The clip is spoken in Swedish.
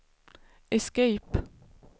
escape